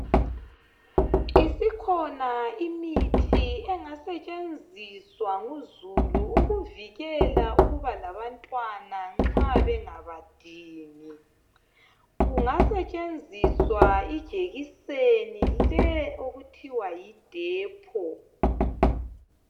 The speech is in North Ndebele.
Isikhona imithi engasetshenziswa nguzulu ukuvikela ukuba labantwana nxa bengabadingi. Kungasetshenziswa ijekiseni le okuthiwa yi Depo